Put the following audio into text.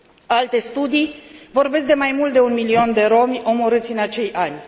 Alte studii vorbesc de mai mult de un milion de romi omorâți în acei ani.